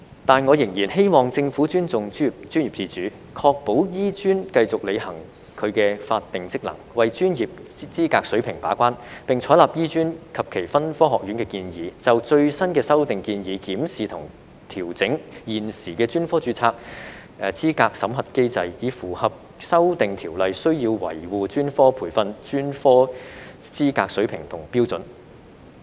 但我仍然希望政府尊重專業自主，確保香港醫學專科學院繼續履行其法定職能，為專業資格水平把關，並採納醫專及其分科學院的建議，就最新的修訂建議檢視及調整現時的專科註冊資格審核機制，以符合修訂條例需要維護專科培訓、專科資格水平和標準。